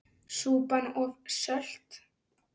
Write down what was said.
Súpan of sölt!